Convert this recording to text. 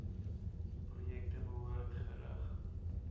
projekte behoort gerig